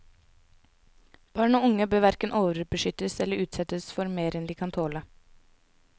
Barn og unge bør hverken overbeskyttes eller utsettes for mer enn de kan tåle.